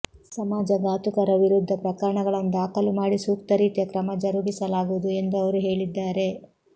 ಸಮಾಜಘಾತುಕರ ವಿರುದ್ಧ ಪ್ರಕರಣಗಳನ್ನು ದಾಖಲು ಮಾಡಿ ಸೂಕ್ತ ರೀತಿಯ ಕ್ರಮ ಜರುಗಿಸಲಾಗುವುದು ಎಂದು ಅವರು ಹೇಳಿದ್ದಾರೆ